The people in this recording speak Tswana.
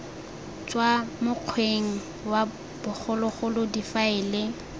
tswa mokgweng wa bogologolo difaele